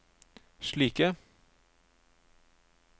slike